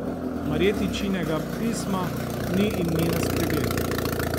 Marjetičinega pisma ni in ni na spregled.